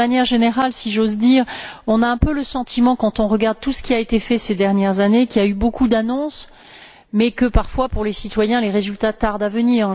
D'une manière générale, si j'ose dire, on a un peu le sentiment, quand on regarde tout ce qui a été fait ces dernières années, qu'il y a eu beaucoup d'annonces, mais que, parfois, pour les citoyens, les résultats tardent à venir.